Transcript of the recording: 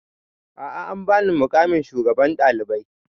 A'a an ba ni muƙamin shugaban ɗalibai